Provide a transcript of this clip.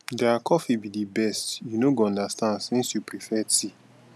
their coffee be the best you no go understand since you prefare tea